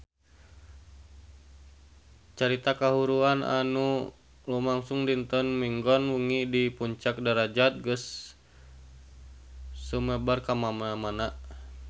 Carita kahuruan anu lumangsung dinten Minggon wengi di Puncak Darajat geus sumebar kamana-mana